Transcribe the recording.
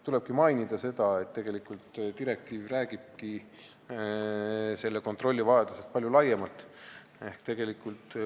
Tulebki mainida, et tegelikult räägib direktiiv palju laiema kontrolli vajadusest.